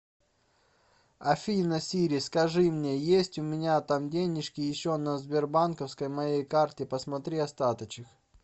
афина сири скажи мне есть у меня там денежки еще на сбербанковской моей карте посмотри остаточек